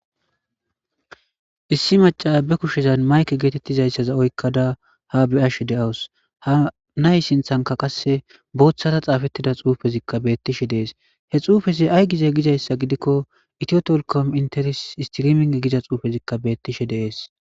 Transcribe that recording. Issi maccaya be kushezan mayke geetettizayssa oykkada ha be'ashe de'awus. Ha nay sinththankka qasse booththara xaafetida xuufezikka beettishe dees. He xuufez ayi gize gzayssa gidikko itiyo telekom istiriming giza xuufezikka beettishe de'es.